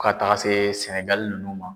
Fɔ ka taga se Sɛnɛgali ninnu ma.